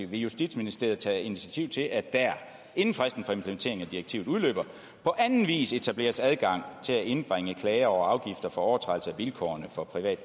vil justitsministeriet tage initiativ til at der inden fristen for implementeringen af direktivet udløber på anden vis etableres adgang til at indbringe klager over afgifter for overtrædelse af vilkårene for privat